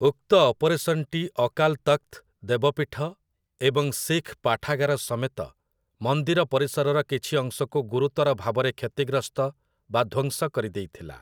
ଉକ୍ତ ଅପରେସନ୍‌ଟି ଅକାଲ୍ ତଖ୍‌ତ ଦେବପୀଠ ଏବଂ ଶିଖ୍ ପାଠାଗାର ସମେତ ମନ୍ଦିର ପରିସରର କିଛି ଅଂଶକୁ ଗୁରୁତର ଭାବରେ କ୍ଷତିଗ୍ରସ୍ତ ବା ଧ୍ଵଂସ କରିଦେଇଥିଲା ।